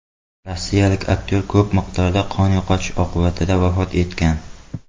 Rossiyalik aktyor ko‘p miqdorda qon yo‘qotish oqibatida vafot etgan.